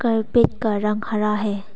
Carpet का रंग हरा है।